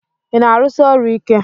Ị na-arụsi ọrụ ike?